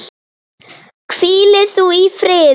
Hvíli þú í friði.